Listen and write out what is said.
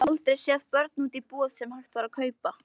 Ég hafði aldrei séð börn úti í búð sem hægt var að kaupa.